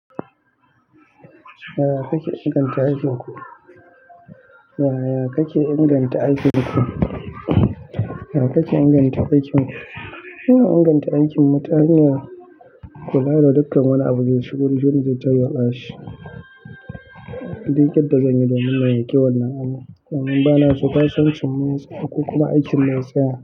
Yaya kake inganta aikin ku? Yaya kake inganta aikin ku? Muna inganta aikinmu ta hanyar kula da dukkan wani abun da shigo jiya zai tarwa sashi. Duk yadda zan yi domin na yi kyawun nan ama domin ba na so kasancewar masu auku kuma aikin na tsaya.